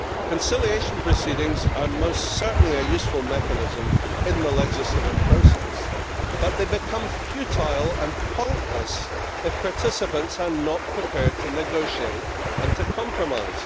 Conciliation proceedings are most certainly a useful mechanism in the legislative process, but they become futile and pointless if participants are not prepared to negotiate and to compromise.